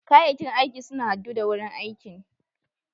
Kayakin aikin suna haddu da wurin aikin.